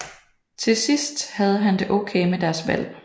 Til sidst havde han det okay med deres valg